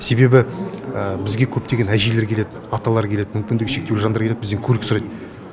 себебі бізге көптеген әжейлер келеді аталар келеді мүмкіндігі шектеулі жандар келеді бізден көлік сұрайды